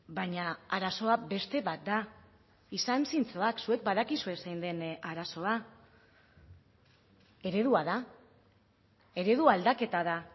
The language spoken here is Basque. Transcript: baina arazoa beste bat da izan zintzoak zuek badakizue zein den arazoa eredua da eredu aldaketa da